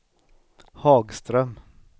Hagström